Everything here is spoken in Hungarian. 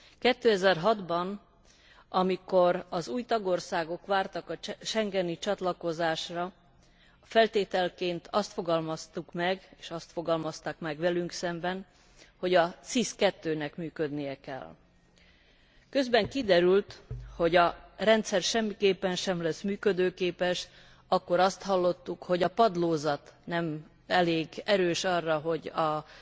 2006 ban, amikor az új tagországok vártak a schengeni csatlakozásra, feltételként azt fogalmaztuk meg, és azt fogalmazták meg velünk szemben, hogy a SIS II nek működnie kell. Közben kiderült, hogy a rendszer semmiképpen sem lesz működőképes. Akkor azt hallottuk, hogy a padlózat nem elég erős arra, hogy